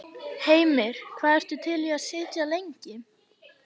Heimir: Hvað ertu til í að sitja lengi?